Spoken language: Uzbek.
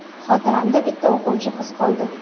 Xotiramda bitta o‘quvchi qiz qoldi.